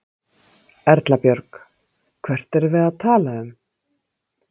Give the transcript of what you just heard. Erla Björg: Hvert erum við að tala um?